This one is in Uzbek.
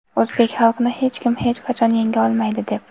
o‘zbek xalqini hech kim hech qachon yenga olmaydi– deb.